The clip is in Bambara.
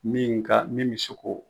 Min ka min bɛ se k'o